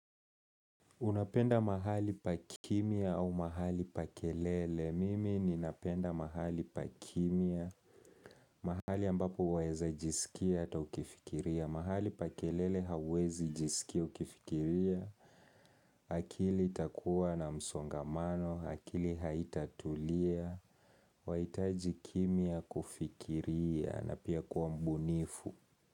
Unapenda mahali pa kimya au mahali pa kelele. Mimi ninapenda mahali pa kimya. Mahali ambapo waeza jisikia ata ukifikiria. Mahali pa kelele hawezi jisikia ukifikiria. Akili itakuwa na msongamano. Akili haitatulia. Waitaji kimya kufikiria. Na pia kuwa mbunifu.